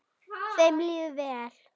Þeim líður vel.